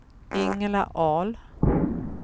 Ingela Ahl